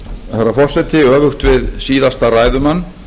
herra forseti öfugt við síðasta ræðumann